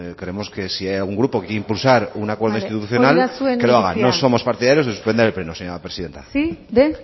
creemos que si hay algún grupo que quiere impulsar un acuerdo institucional que lo haga no somos partidarios de suspender el pleno señora presidenta bale hori da zuen iritzia sí de